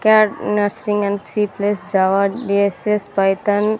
Cat nursing and C plus Java D S S Python .